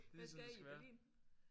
Hvad skal I i Berlin?